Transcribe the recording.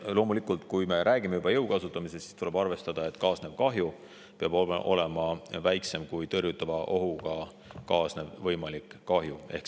Loomulikult, kui me räägime juba jõu kasutamisest, siis tuleb arvestada, et kaasnev kahju peab olema väiksem kui tõrjutava ohuga kaasnev võimalik kahju.